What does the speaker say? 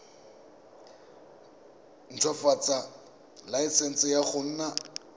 ntshwafatsa laesense ya go nna